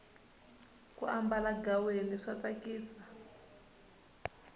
ku ambala ghaweni swa tsakisa